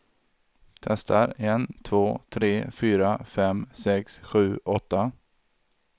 Testar en två tre fyra fem sex sju åtta.